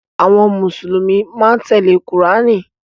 Àwọn Mùsùlùmí máa ń tẹ́lẹ̀ Kùránì.